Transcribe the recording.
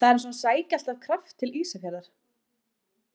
Það er eins og hann sæki alltaf kraft til Ísafjarðar.